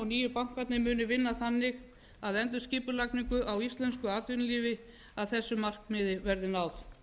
og nýju bankarnir munu vinna þannig að endurskipulagningu á íslensku atvinnulífi að þessu markmiði verði náð